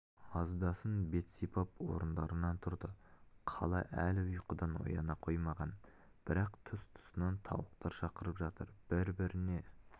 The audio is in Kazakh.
аздасын бет сипап орындарынан тұрды қала әлі ұйқыдан ояна қоймаған бірақ тұс-тұсынан тауықтар шақырып жатыр бір-біріне